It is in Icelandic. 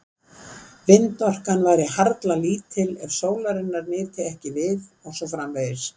Vindorkan væri harla lítil ef sólarinnar nyti ekki við og svo framvegis.